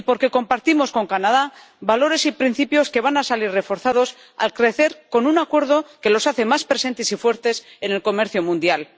y porque compartimos con Canadá valores y principios que van a salir reforzados, al crecer con un Acuerdo que los hace más presentes y fuertes en el comercio mundial.